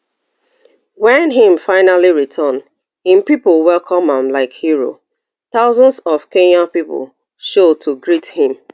wen im finally return im pipo welcome am like hero thousands of kenya pipo show to greet him